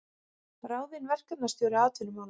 Ráðinn verkefnisstjóri atvinnumála